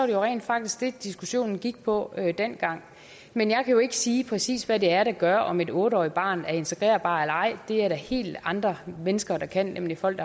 jo rent faktisk det diskussionen gik på dengang men jeg kan jo ikke sige præcis hvad det er der gør om et otte årig t bare er integrerbart eller ej det er der helt andre mennesker der kan nemlig folk